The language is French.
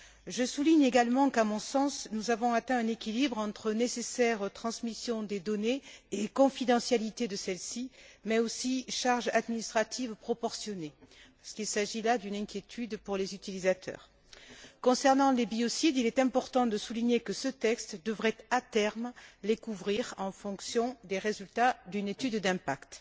Je souligne également qu'à mon sens, nous avons atteint un équilibre entre nécessaire transmission des données et confidentialité de celles ci, mais aussi charges administratives proportionnées puisqu'il s'agit là d'une inquiétude pour les utilisateurs. Concernant les biocides, il est important de souligner que ce texte devrait, à terme, les couvrir en fonction des résultats d'une étude d'impact.